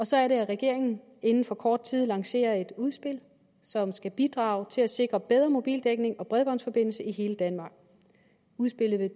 så er det at regeringen inden for kort tid lancerer et udspil som skal bidrage til at sikre bedre mobildækning og bredbåndsforbindelse i hele danmark udspillet